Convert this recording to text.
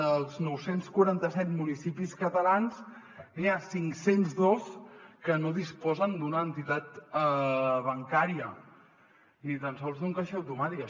dels nou cents i quaranta set municipis catalans n’hi ha cinc cents i dos que no disposen d’una entitat bancària ni tan sols d’un caixer automàtic